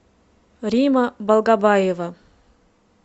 римма балгабаева